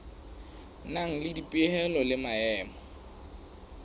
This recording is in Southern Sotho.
nang le dipehelo le maemo